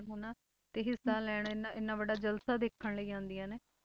ਹਨਾ ਤੇ ਹਿੱਸਾ ਲੈਣ ਇੰਨਾ ਇੰਨਾ ਵੱਡਾ ਜਲਸਾ ਦੇਖਣ ਲਈ ਆਉਂਦੀਆਂ ਨੇ।